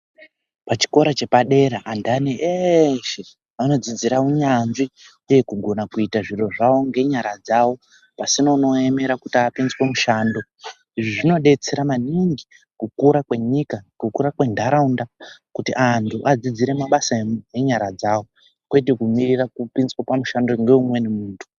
Pachikora chepadera andani eeshe anodzidzira unyanzvi uye kugona kuita zviro zvao ngenyara dzao pasina unoaemera kuti apinzwe mushando izvi zvinodetsera maningi kukura kwenyika kukura kwentharaunda kuti anthu adzidzire mabasa enyara dzao kwete kumirira kupinzwe pamushando ngeumweni munthu .